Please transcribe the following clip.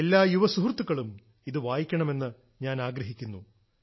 എല്ലാ യുവസുഹൃത്തുക്കളും ഇത് വായിക്കണമെന്ന് ഞാൻ ആഗ്രഹിക്കുന്നു